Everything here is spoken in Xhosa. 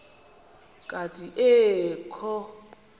kanti ee kho